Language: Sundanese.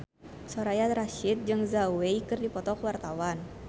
Soraya Rasyid jeung Zhao Wei keur dipoto ku wartawan